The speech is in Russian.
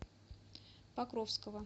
покровского